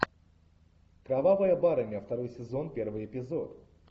кровавая барыня второй сезон первый эпизод